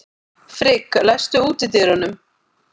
Frigg, læstu útidyrunum.